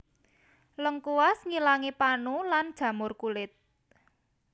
Lengkuas ngilangi panu lan jamur kulit